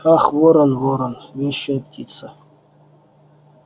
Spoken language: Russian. ах ворон ворон вещая птица